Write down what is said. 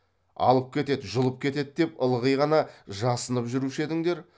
алып кетеді жұлып кетеді деп ылғи ғана жасанып жүруші едіңдер